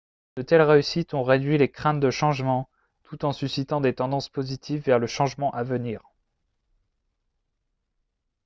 de telles réussites ont réduit les craintes de changement tout en suscitant des tendances positives vers le changement à venir